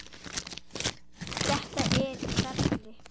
Þetta er í ferli.